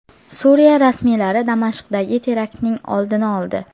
Suriya rasmiylari Damashqdagi teraktning oldini oldi.